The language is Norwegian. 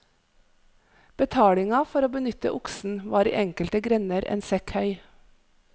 Betalinga for å benytte oksen var i enkelte grender en sekk høy.